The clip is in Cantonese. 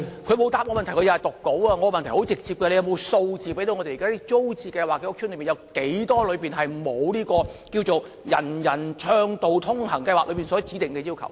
我的問題很直接，局長可否提供數字，指出有多少租置屋邨現時未能符合"人人暢道通行"計劃所指定的要求？